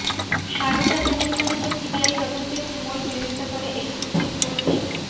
সারদা কেলেঙ্কারিতে সিবিআই তদন্তের তুমুল বিরোধিতা করে এই সুপ্রিম কোর্টেই